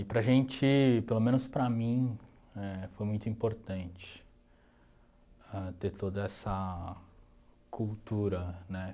E para a gente, pelo menos para mim, éh foi muito importante ter toda essa cultura né